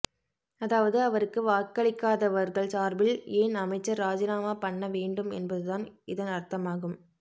அதாவது அவருக்கு வாக்களிக் காதவர்கள் சார்பில் ஏன் அமைச்சர் இராஜினாமா பண்ண வேண்டும் என்பதுதான் இதன் அர்த்தமாகும்